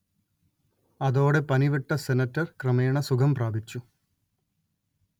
അതോടെ പനിവിട്ട സെനറ്റർ ക്രമേണ സുഖം പ്രാപിച്ചു